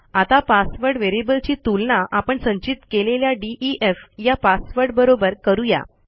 आता पासवर्ड व्हेरिएबलची तुलना आपण संचित केलेल्या डीईएफ या पासवर्ड बरोबर करू या